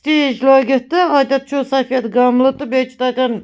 .شیٖش لٲگِتھ تہٕ اَتٮ۪تھ چُھ سفید گملہٕ تہٕ بیٚیہِ چُھ تتٮ۪ن